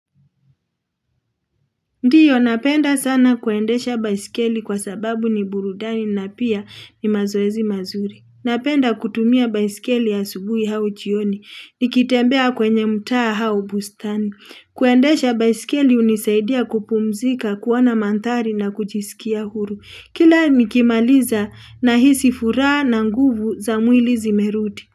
Ndiyo napenda sana kuendesha baisikeli kwa sababu ni burudani na pia ni mazoezi mazuri. Napenda kutumia baisikeli asubuhi au jioni. Nikitembea kwenye mtaa au bustani. Kuendesha baisikeli hunisaidia kupumzika, kuona mandhari na kujisikia huru. Kila nikimaliza nahisi furaha na nguvu za mwili zimerudi.